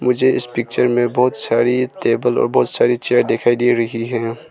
मुझे इस पिक्चर में बहोत सारी टेबल और बहोत सारी चेयर दिखाई दे रही हैं।